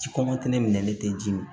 Ji minɛli tɛ ji mi